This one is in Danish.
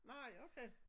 Nej okay